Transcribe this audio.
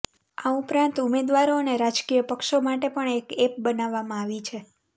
આ ઉપરાંત ઉમેદવારો અને રાજકીય પક્ષો માટે પણ એક એપ બનાવવામાં આવી છે